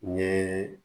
N ye